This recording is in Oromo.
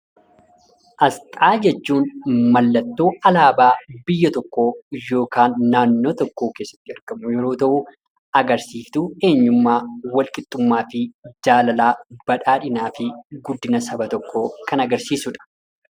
Asxaa jechuun mallattoo alaabaa biyya tokkoo yookaan naannoo tokkoo keessatti argamu yeroo ta'uu agarsiiftuu eenyummaa, walqixxummaa fi jaalalaa, badhaadhinaa fi guddina saba tokkoo kan agarsiisudha.